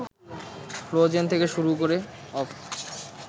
frozen থেকে শুরু করে